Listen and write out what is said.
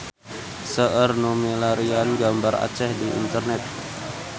Seueur nu milarian gambar Aceh di internet